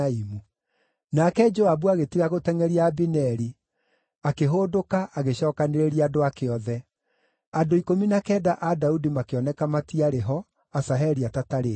Nake Joabu agĩtiga gũtengʼeria Abineri, akĩhũndũka agĩcookanĩrĩria andũ ake othe. Andũ ikũmi na kenda a Daudi makĩoneka matiarĩ ho, Asaheli atatarĩtwo.